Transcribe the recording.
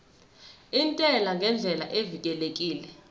intela ngendlela evikelekile